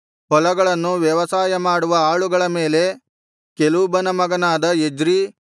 ಹೊಲಗಳನ್ನು ವ್ಯವಸಾಯ ಮಾಡುವ ಆಳುಗಳ ಕೆಲೂಬನ ಮಗನಾದ ಎಜ್ರೀ ಇದ್ದನು